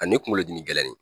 A ni kunkolo dimi gɛlɛnni